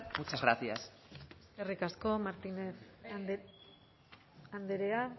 muchas gracias eskerrik asko martínez andrea